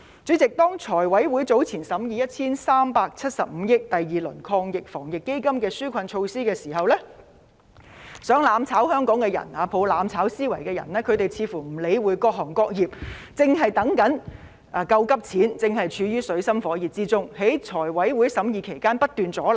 主席，當財務委員會早前審議涉及 1,375 億元的第二輪防疫抗疫基金的紓困措施時，企圖"攬炒"香港的人、抱着"攬炒"思維的人似乎不理會各行各業正在等待"救急錢"，正處於水深火熱之中，而在財委會審議該項目期間不斷阻撓。